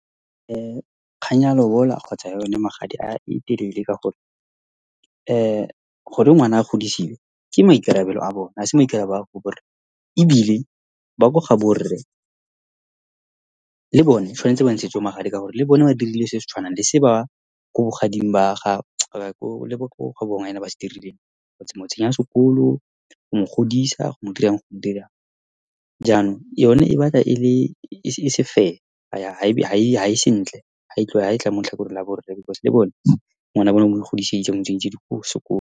Kgang ya lobola kgotsa ya yone magadi e telele ka gore , gore ngwana a godisiwe ke maikarabelo a bone, ha se maikarabelo a ko go bo rre. Ebile ba ko ga bo rre le bone tshwanetse ba ntshetswe magadi ka gore le bone ba dirile se se tshwanang le se ba ko bogading ba ga , le ba ko gabo ngwanyana ba se dirileng, go mo tsenya sekolo, go mo godisa, go mo dirang, . Jaanong yone e batla ele, e se fair, ha ya, ha e sentle ha e tla mo letlhakoreng la bo rre because le bone ngwana wa bone ba mo ikgodisetsa, ba mo tsentse di sekolo.